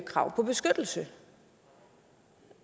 krav på beskyttelse